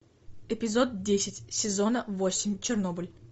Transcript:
эпизод десять сезона восемь чернобыль